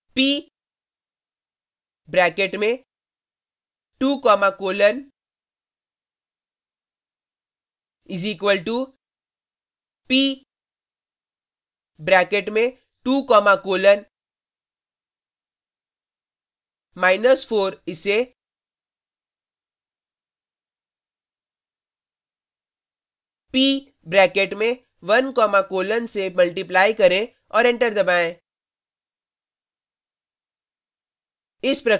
p bracket में 2 comma colon is equal to p bracket में 2 comma colon minus 4 इसे p bracket में 1 comma colon से multiply करें और एंटर दबाएँ